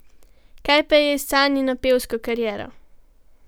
Kaj pa je s Sanjino pevsko kariero?